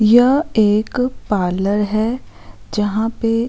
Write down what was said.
यह एक पार्लर है जहाँ पे --